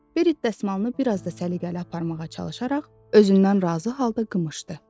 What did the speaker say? Berit dəsmalını bir az da səliqəli aparmağa çalışaraq özündən razı halda qımışdı.